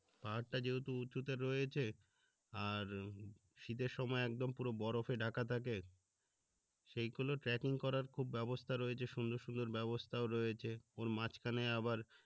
পাহাড় টা যেহেতু উচুতে রয়েছে আর শীতের সময় একদম বরফে ঢাকা থাকে সেইগুলো ট্রাকিং করার খুব ব্যাবস্থা হয়েছে সুন্দর সুন্দর ব্যাবস্থাও রয়েছে ওর মাঝখানে আবার